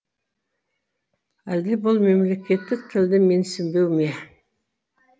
әлде бұл мемлекеттік тілді менсінбеу ме